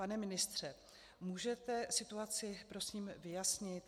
Pane ministře, můžete situaci prosím vyjasnit?